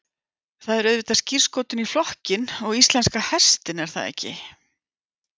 Það er auðvitað skírskotun í flokkinn og íslenska hestinn er það ekki?